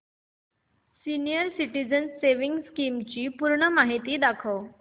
senior citizens savings scheme ची संपूर्ण माहिती दाखव